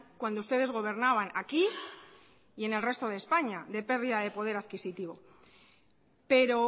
cuando ustedes gobernaban aquí y en el resto de españa de pérdida de poder adquisitivo pero